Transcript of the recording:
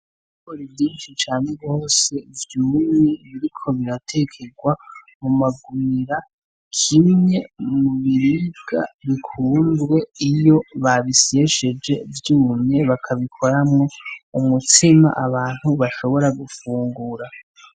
Ikore ivyinshi cane bwose vyumumwe biriko biratekerwa mu magumira kimye mu miriga bikundwe iyo babisesheje vyumye bakabikoramwo umutsima abantu bashobora gufungura.